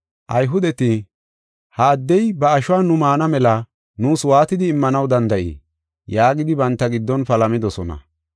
Ayhudeti, “Ha addey ba ashuwa nu maana mela nuus waatidi immanaw danda7ii?” yaagidi banta giddon palamidosona.